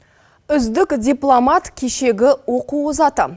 үздік дипломат кешегі оқу озаты